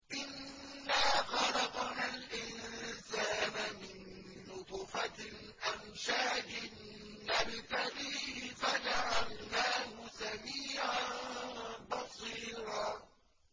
إِنَّا خَلَقْنَا الْإِنسَانَ مِن نُّطْفَةٍ أَمْشَاجٍ نَّبْتَلِيهِ فَجَعَلْنَاهُ سَمِيعًا بَصِيرًا